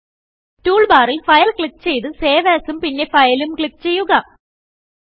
tool ബാറിൽ file click ചെയ്ത് save Asഉം പിന്നെ Fileഉം ക്ലിക്ക് ചെയ്യുക